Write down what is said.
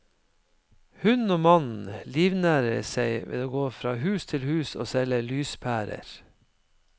Hun og mannen livnærer seg ved å gå fra hus til hus og selge lyspærer.